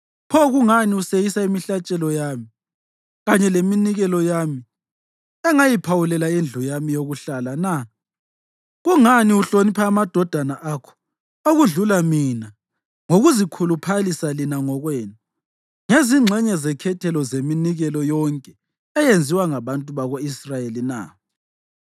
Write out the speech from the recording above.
Pho kungani useyisa imihlatshelo yami kanye leminikelo engayiphawulela indlu yami yokuhlala na? Kungani uhlonipha amadodana akho okudlula mina ngokuzikhuluphalisa lina ngokwenu ngezingxenye zekhethelo zeminikelo yonke eyenziwa ngabantu bako-Israyeli na?’